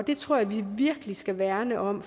det tror jeg vi virkelig skal værne om